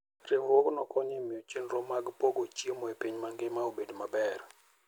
Riwruogno konyo e miyo chenro mag pogo chiemo e piny mangima obed maber.